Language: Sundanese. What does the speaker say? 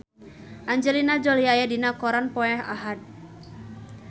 Angelina Jolie aya dina koran poe Ahad